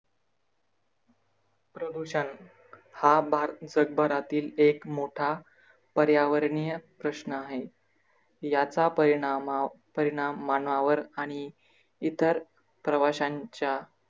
प्रदूषण, हा भाग जग भरातील मोठा पर्यावरणीय प्रश्न आहे. याचा परिणामा परिणाम मानवावर आणि इतर प्रवाशांच्या